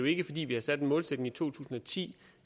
ikke fordi vi har sat en målsætning i to tusind og ti